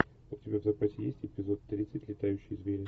у тебя в запасе есть эпизод тридцать летающие звери